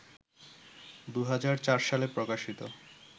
২০০৪ সালে প্রকাশিত